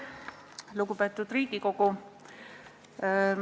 Lugupeetud Riigikogu!